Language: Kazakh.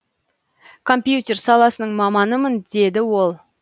компьютер саласының маманымын деді ол